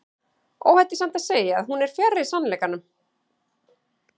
Óhætt er samt að segja að hún er fjarri sannleikanum.